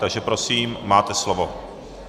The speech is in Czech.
Takže prosím, máte slovo.